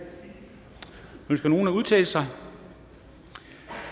ønsker nogen at udtale sig